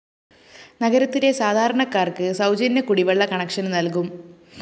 നഗരത്തിലെ സാധാരണക്കാക്ക് സൗജന്യ കുടിവെള്ള കണക്ഷന്‍ നല്‍കും